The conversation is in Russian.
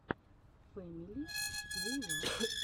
фэмили плейлаб